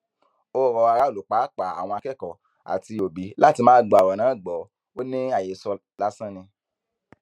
ó rọ aráàlú pàápàá àwọn akẹkọọ àti òbí láti má gba ọrọ náà gbọ ò ní àhesọ lásán ni